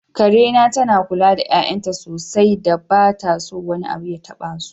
Karena tana kula da 'ya'yanta sosai da ba ta so wani abu ya tabasu.